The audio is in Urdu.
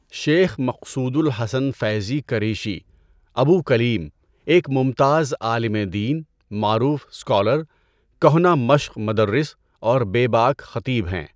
شيخ مقصود الحسن فيضي کریشی، ابو كليم، ایک ممتاز عالم دین، معروف سکالر، کہنہ مشق مدرس اور بے باک خطیب ہیں